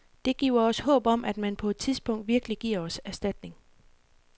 Det giver os håb om, at man på et tidspunkt virkelig giver os erstatning.